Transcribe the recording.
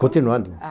Continuando.